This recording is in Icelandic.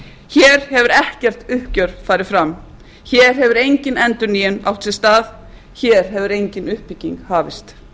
hér hefur ekkert uppgjör farið fram hér hefur engin endurnýjun átt sér stað hér hefur engin uppbygging hafist